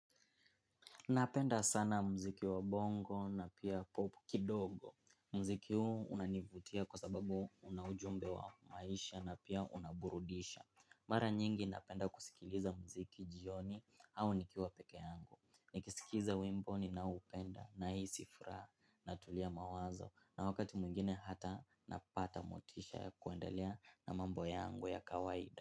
Napenda sana mziki wa bongo na pia popu kidogo. Mziki huu unanivutia kwa sababu una ujumbe wa maisha na pia unaburudisha. Mara nyingi napenda kusikiliza mziki jioni au nikiwa peke yangu. Nikisikiza wimbo ninaoupenda nahisi furaha natulia mawazo na wakati mwingine hata napata motisha ya kuendelea na mambo yangu ya kawaida.